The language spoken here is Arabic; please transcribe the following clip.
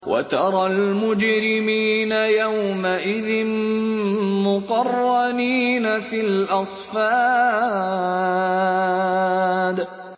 وَتَرَى الْمُجْرِمِينَ يَوْمَئِذٍ مُّقَرَّنِينَ فِي الْأَصْفَادِ